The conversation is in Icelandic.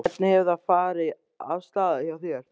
Hvernig hefur þetta farið af stað hjá þér?